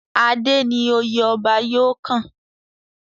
Adé ni oyè ọba yóò kàn.